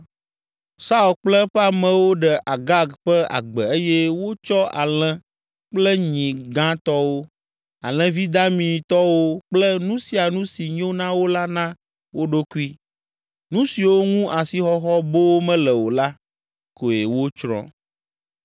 Saul kple eƒe amewo ɖe Agag ƒe agbe eye wotsɔ alẽ kple nyi gãtɔwo, alẽvi damitɔwo kple nu sia nu si nyo na wo la na wo ɖokui. Nu siwo ŋu asixɔxɔ boo mele o la, koe wotsrɔ̃.